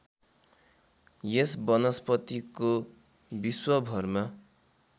यस वनस्पतिको विश्वभरमा